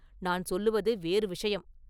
நான் சொல்லுவது வேறு விஷயம்.